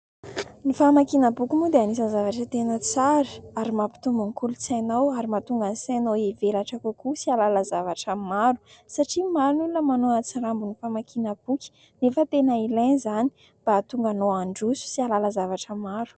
Ny famakiana boky moa dia anisany zavatra tena tsara ary mampitombo ny kolontsainao ary mahatonga ny sainao hivelatra kokoa sy ahalala zavatra maro ; satria maro ny olona manao atsirambina ny famakiana boky nefa tena ilaina izany mba ahatonga anao handroso sy ahalala zavatra maro.